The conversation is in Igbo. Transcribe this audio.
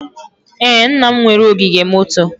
Ee, nna m nwere ogige moto.